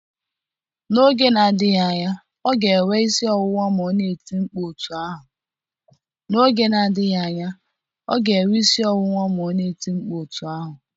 N'oge na-adịghị anya ọ ga-enwe isi ọwụwa ma ọ na-eti mkpu otú ahụ